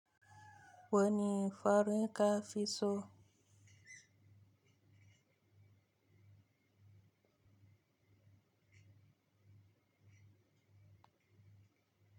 Wani fari kafi so.